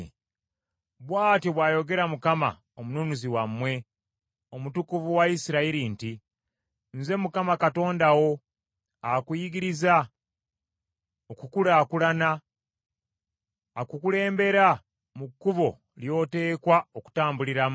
Bw’atyo bw’ayogera Mukama , Omununuzi wammwe, Omutukuvu wa Isirayiri nti, “Nze Mukama Katonda wo akuyigiriza okukulaakulana, akukulembera mu kkubo ly’oteekwa okutambuliramu.